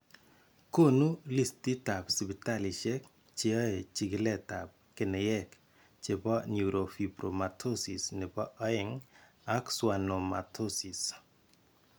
Koonu listitaab sipitalisiek cheyae chikiletab keneyeek chebo neurofibromatosis nebo 2 ak schwannomatosis.